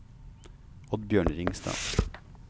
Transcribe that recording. Oddbjørn Ringstad